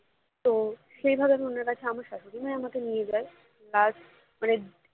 তো সেভাবে আমি ওনার কাছে আমার শ্বাশুড়িমাই নিয়ে যায় plus মানে